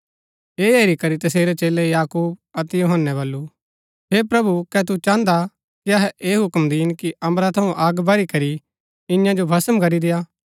ऐह हेरी करी तसेरै चेलै याकूब अतै यूहन्‍नै वल्‍लु हे प्रभु कै तु चाहन्दा कि अहै ऐह हुक्म दीन कि अम्बरा थऊँ अग बरी करी ईयां जो भस्म करी देआ